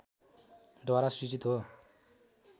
द्वारा सृजित हो